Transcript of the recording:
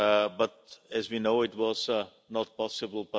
but as we know, it was not possible.